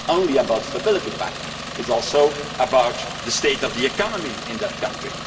It is not only about the Stability Pact, it is also about the state of the economy in that country.